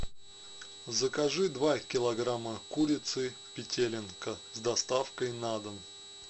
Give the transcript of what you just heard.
закажи два килограмма курицы петелинка с доставкой на дом